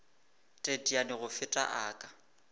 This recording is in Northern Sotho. teteane go feta a ka